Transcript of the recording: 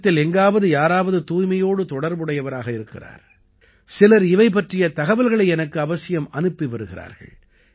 தேசத்தில் எங்காவது யாராவது தூய்மையோடு தொடர்புடையவராக இருக்கிறார் சிலர் இவை பற்றிய தகவல்களை எனக்கு அவசியம் அனுப்பி வருகிறார்கள்